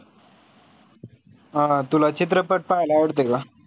हा हा तुला चित्रपट पाहायला आवडतो का?